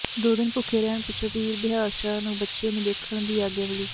ਦੋ ਦਿਨ ਭੁੱਖੇ ਰਹਿਣ ਪਿੱਛੋਂ ਪੀਰ ਬਿਹਾਰ ਸ਼ਾਹ ਨੂੰ ਬੱਚੇ ਨੂੰ ਦੇਖਣ ਦੀ ਆਗਿਆ ਮਿਲੀ